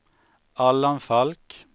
Allan Falk